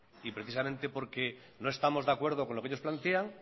y precisamente porque no estamos de acuerdo con lo que ellos plantean